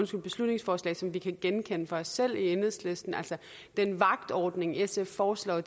beslutningsforslag som vi kan genkende fra os selv i enhedslisten den vagtordning sf foreslår